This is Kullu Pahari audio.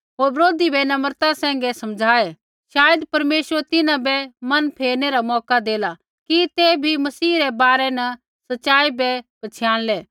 होर बरोधी बै नम्रता सैंघै समझ़ाऐ शायद परमेश्वर तिन्हां बै मन फेरनै रा मौका देला कि ते भी मसीह रै बारै न सच़ाई बै पछ़ियाणलै